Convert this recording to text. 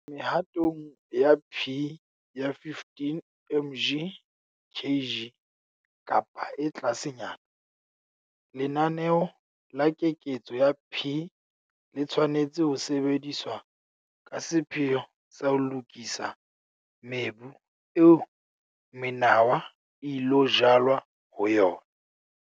Mehatong ya P ya 15 mg kg kapa e tlasenyana, lenaneo la keketso ya P le tshwanetse ho sebediswa ka sepheo sa ho lokisa mebu eo menawa e ilo jalwa ho yona.